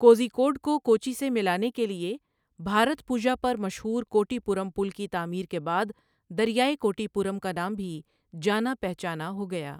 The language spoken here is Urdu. کوزی کوڈ کو کوچی سے ملانے کے لیے بھارتپوژا پر مشہور کوٹی پورم پل کی تعمیر کے بعد، دریائے کوٹی پورم کا نام بھی جانا پہچانا ہو گیا۔